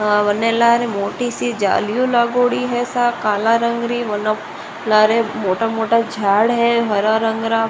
मैंने लागरी मोटी सी जाली लागोड़ी है सामन काला रंग रि --